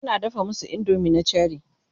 tana dafa masu indomie na Cherie